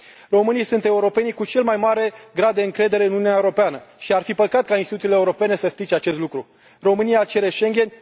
Românii sunt europenii cu cel mai mare grad de încredere în Uniunea Europeană și ar fi păcat ca instituțiile europene să strice acest lucru. România cere Schengen.